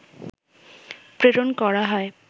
প্রেরণ করা হয়